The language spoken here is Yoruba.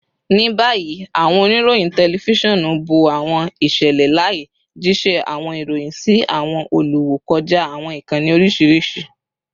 Ni bayi, awọn onirohin tẹlifisiọnu bo awọn iṣẹlẹ laaye, jiṣẹ awọn iroyin si awọn oluwo kọja awọn ikanni oriṣiriṣi